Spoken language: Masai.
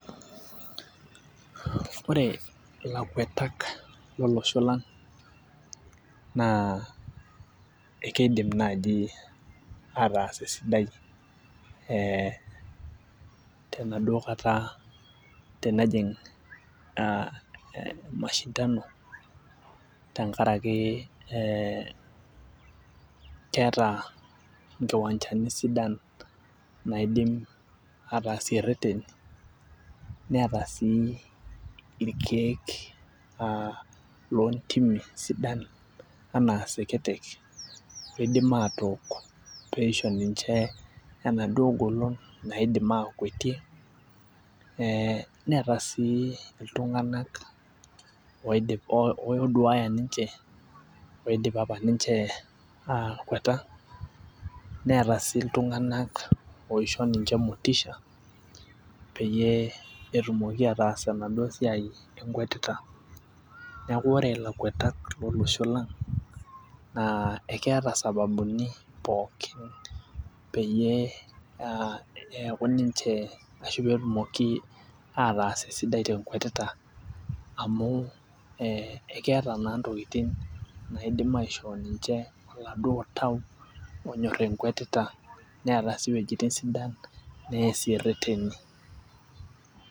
Ore ilakuetak, lolosho lang naa ekeidim naaji ataasa esidai ee tenaduoo kata tenejing aa e mashindano tenkaraki keeta inkiwanchani sidan, naidim aatasie reteni neeta sii orkeek loo ntimk sidan anaa seketek neidim atook pee eisho ninche enaduo golon naidim aakuwetie, neeta sii iltunganak ooduaya ninche, oidim aatapal ninche aawaita neeta sii iltunganak oishoo ninche motisha peyie etumoki aas enaduoo siai enkwetita. Neeku ore lakuetak lolosho lang naa ekeeta sababuni pookin peyie neeku ninche ashu pee etumoki ataasa esidai tenkwetita, amu ekeeta naa ntokitin naidim aishoo ninche oladuop Tau oonyor enkwetita neeta sii wuejitin sidan neesie ireteni.